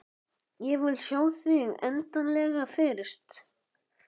Ég vil sjá þig endanlega fyrst.